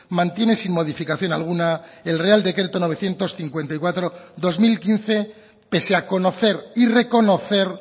mantiene sin modificación alguna el real decreto novecientos cincuenta y cuatro barra dos mil quince pese a conocer y reconocer